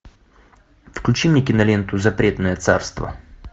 включи мне киноленту запретное царство